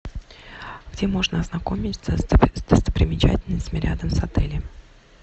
где можно ознакомиться с достопримечательностями рядом с отелем